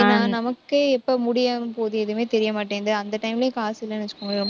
ஏன்னா நமக்கே எப்ப முடியாம போகுது எதுவுமே தெரிய மாட்டேங்குது. அந்த time லயும் காசு இல்லைன்னு வச்சுக்கோங்க ரொம்ப